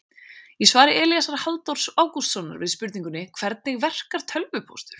Í svari Elíasar Halldórs Ágústssonar við spurningunni Hvernig verkar tölvupóstur?